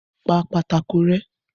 Pa pátákó rẹ́.